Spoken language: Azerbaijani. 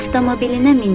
Avtomobilinə mindi.